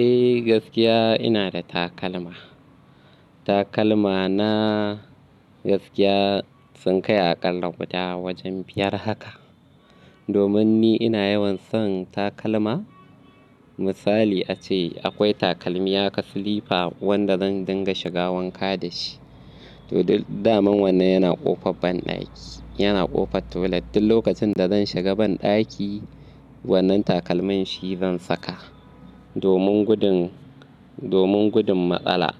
Eh gaskiya ina da takalma. Takalma na gaskiya sun kai aƙalla guda wajen biyar haka. Domin ni ina yawan son takalma. Misali ace akwai takalmi ya ka slippa wanda zan dinga shiga wanka da shi. To, duk damin wannan yana ƙofar banɗaki, yana ƙofar toilet. Duk lokacin da zan shiga banɗaki wannan takalman shi zan saka. Domin gudun, domin gudun matsala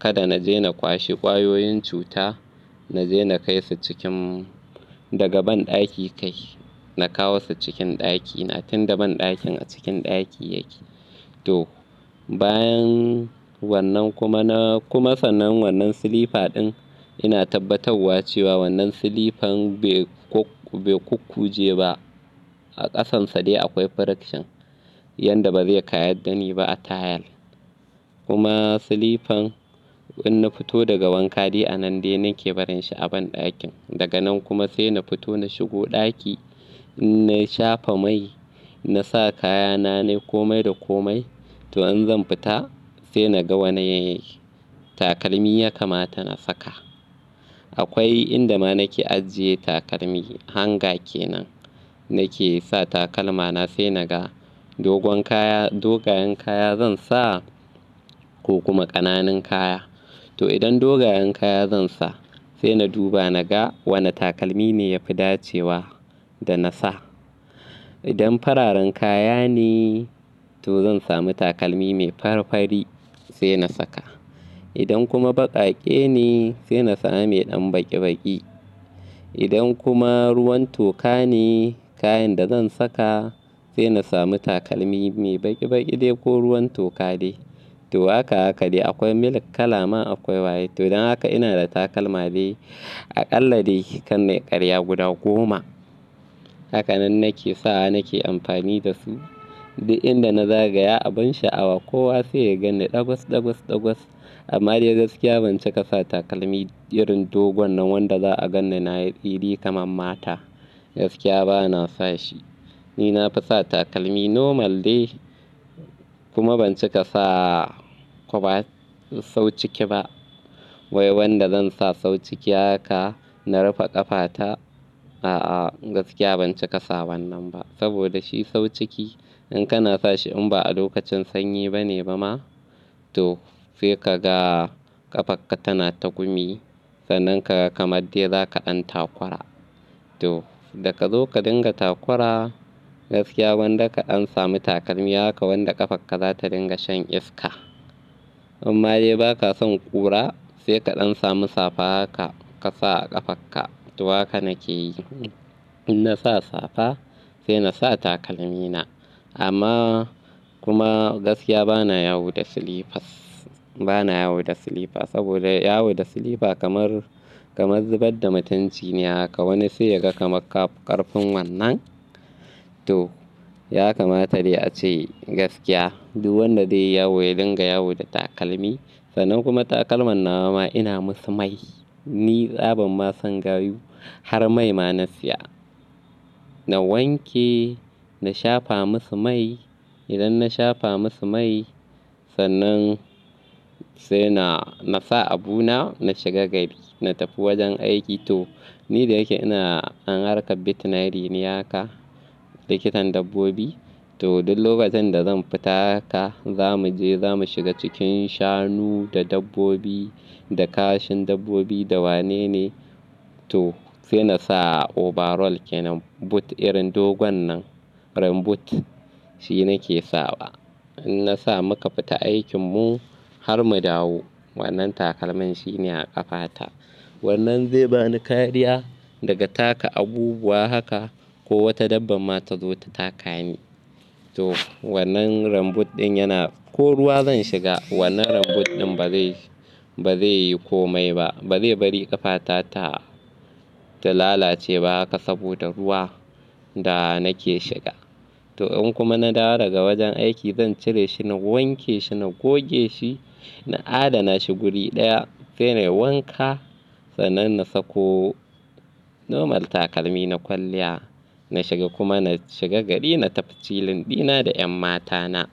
kada na je na kwashe ƙwayoyin cuta na je na kai su cikin daga banɗaki kai na kawo su cikin ɗakina tunda banɗakin a cikin ɗaki yake. To, bayan wannan kuma na kuma sanan wannan slipper din ina tabbatawa cewa wannan slipper be ku-be ku kuje ba. A ƙasansa dai akwai friction yanda ba zai kayar da ni ba a tayal. Kuma slipper in na fito daga wanka dai a nan dai nake barin shi a banɗakin. Daga nan kuma sai na fito na shigo ɗaki, in na shafa mai na sa kaya na ne komai da komai. To in zan fita sai na ga wane takalmi ya kamata na saka. Akwai inda ma nake ajiye takalmi hanger kenan nake sa takalma na sai na ga dogon kaya dogayen kaya zan sa ko kuma ƙananan kaya. To idan dogayen kaya zan sa sai na duba na ga wane takalmi ne ya fi dacewa da na sa. Idan fararen kaya ne to zan sami takalmi mai farfari sai na saka. Idan kuma baƙaƙe ne sai na sami ɗan baƙi baƙi. Idan kuma ruwan toka ne kayan da zan saka sai na sami takalmi mai baƙi baƙi dai ko ruwan toka dai. To haka haka dai akwai milk kala ma akwai white. To don haka ina da takalma dai aƙalla dai kar nayi ƙarya guda goma. Hakanan nake sawa nake amfani da su. Duk inda na zagaya a bin sha'awa kowa sai ya ganni ɗagos ɗagos ɗagos. Amma dai gaskiya ban cika sa takalmi irin dogon nan wanda za'a gan ni na yi ɗiri kamar mata. Gaskiya bana sa shi. Ni na fi sa takalmi normal dai kuma ban cika sa kwaba sauciki ba. Wai wanda zan sa sauciki haka na rufe ƙafata, a'a gaskiya ban cika sa wannan ba. Saboda shi sauciki in kana sa shi in ba a lokacin sanyi ba ne ba ma to sai ka ga ƙafarka tana tagumi. Sannan ka ga kamar dai za ka ɗan takura. To daga zo ka dinga takura gaskiya gwanda ka ɗan samu takalmi haka wanda ƙafarka za ta dinga shan iska. Amma dai ba ka son ƙura sai ka ɗan samu safa haka ka sa a ƙafarka. To haka nake yi. In na sa safa sai na sa takalmi na. Amma kuma gaskiya bana yawo da slippers bana yawo da slipper saboda yawo da slipper kamar ka zubar da mutunci ne haka wani sai ya ga kamar ƙarfin wannan. To ya kamata dai ace gaskiya duk wanda zai yawo ya dinga yawo da takalmi. Sannan kuma takalman nawa ma ina musu mai. Ni tsaban ma san gayu har mai ma na siya. Na wanke, na shafa musu mai. Idan na shafa musu mai sannan sai na, na sa abuna na shiga gari. Na tafi wajen aiki to ni da yake ina dan harka veterinary ne haka likitan dabbobi. To duk lokacin da zan fita haka za mu je za mu shiga cikin shanu da dabbobi da kashin dabbobi da wanene. To sai na sa overall kenan boot irin dogon nan rain boot shi nake sawa. In na sa muka fita aikin mu har mu dawo wannan takalmin shi ne a ƙafata. Wannan zai bani kariya daga taka abubuwa haka ko wata dabba ma ta zo ta taka ni. To wannan rain boot din yana ko ruwa zan shiga wannan rain boot ɗin ba zai, ba zai yi komai ba. Ba zai bari ƙafata ta, ta lalace ba haka saboda ruwa da nake shiga. To in kuma na dawo daga wajen aiki zan cire shi na wanke shi, na goge shi, na adana shi guri daya sai na yi wanka sannan na sako normal takalmi na kwalliya. Na shiga kuma na shiga gari na tafi chillin ɗina da 'yan matana.